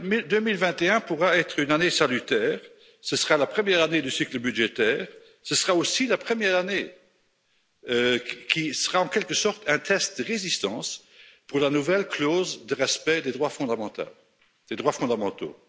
2021 pourra être une année salutaire, ce sera la première année du cycle budgétaire, ce sera aussi la première année qui sera en quelque sorte un test de résistance pour la nouvelle clause de respect des droits fondamentaux.